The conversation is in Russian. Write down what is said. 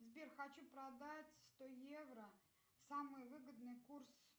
сбер хочу продать сто евро самый выгодный курс